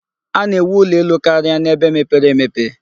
A na-ewu ụlọ elu karia n'ebe mepere emepe.